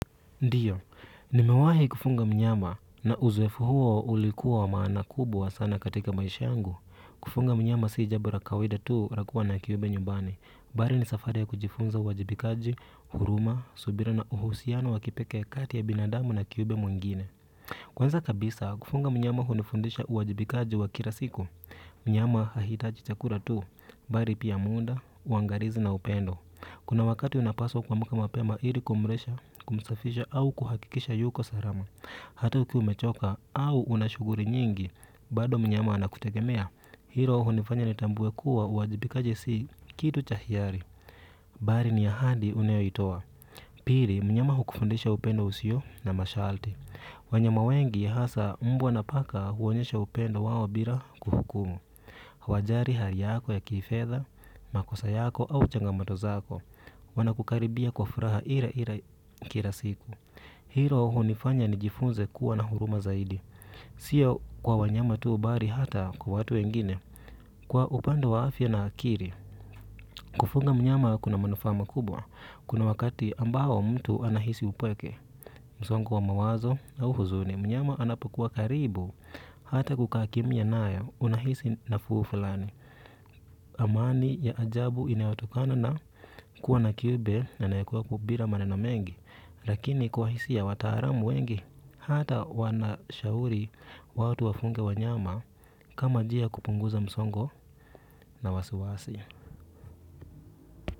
Ndiyo nimewahi kufunga mnyama na uzoefu huo ulikuwa wa maana kubwa sana katika maisha yangu kufunga mnyama si jabo la kawaida tuu lakuwa na kiyube nyubani bali ni safari ya kujifunza uwajibikaji huruma subira na uhusiano wakipeke kati ya binadamu na kiyube mwingine kwanza kabisa kufunga mnyama hundifundisha uwajibikaji wa kirasiku mnyama hahitaji chakura tu bari pia muda uangarizi na upendo. Kuna wakati unapaswa kuamuka mapema ili kumrisha, kumsafisha au kuhakikisha yuko sarama. Hata ukiwa umechoka au una shuguri nyingi, bado mnyama ana kutegemea. Hilo hunifanya nitambuwe kuwa uwajibikaji si kitu cha hiyari. Bari ni ahandi unayo itoa. Piri, mnyama hukufundisha upendo usio na mashalti. Wanyama wengi hasa mbwa na paka huonyesha upendo wao bira kuhukumu. Wajari hali yako ya kifedha, makosa yako au changamato zako. Wanakukaribia kwa furaha ire ire kira siku hilo hunifanya nijifunze kuwa na huruma zaidi sio kwa wanyama tu bari hata kwa watu wengine kwa upande wa afya na akiri kufunga mnyama kuna manufaa makubwa kuna wakati ambao mtu anahisi upweke msongo wa mawazo au huzuni mnyama anapokuwa karibu hata kukaa kimia nayo unahisi nafuu fulani amani ya ajabu inayotokana na kuwa na kiube anayekuwepo bira maneno mengi lakini kwa hisia wataaramu wengi hata wanashauri watu wafunge wanyama kama jia ya kupunguza msongo na wasiwasi.